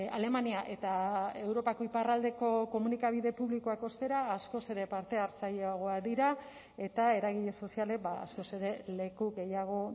alemania eta europako iparraldeko komunikabide publikoak ostera askoz ere parte hartzaileagoak dira eta eragile sozialek askoz ere leku gehiago